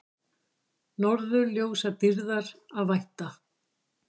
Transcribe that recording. Norðurljósadýrðar að vænta